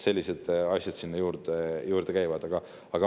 Sellised asjad sinna juurde käivad.